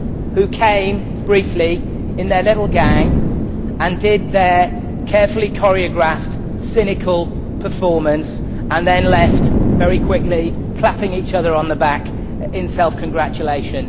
who came briefly in their little gang and did their carefully choreographed cynical performance and then left very quickly clapping each other on the back in self congratulation.